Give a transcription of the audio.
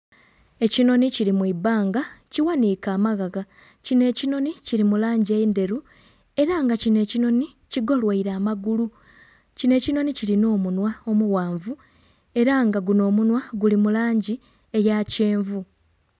Ekinhonhi kili mu ibbanga kighaniike amaghagha. Kino ekinhonhi kili mu langi endheru era kino ekinhonhi kigoloire amagulu. Kino ekinhonhi kilina omunhwa omughanvu era nga guno omunhwa guli mu langi eya kyenvu.